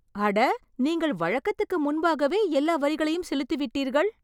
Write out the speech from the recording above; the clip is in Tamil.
அட, நீங்கள் வழக்கத்துக்கு முன்பாகவே எல்லா வரிகளையும் செலுத்திவிட்டீர்கள்.